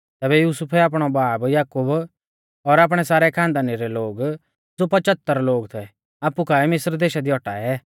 तैबै युसुफै आपणौ बाब याकूब और आपणै सारै खानदानी रै लोग ज़ो पचहतर लोग थै आपु काऐ मिस्र देशा दी औटाऐ